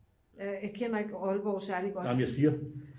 nej men jeg siger